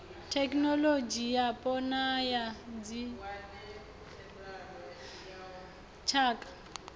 thekhinoḽodzhi yapo na ya dzitshaka